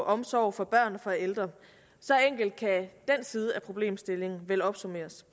omsorg for børn og ældre så enkelt kan den side af problemstillingen vel opsummeres